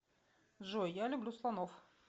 джой я люблю слонов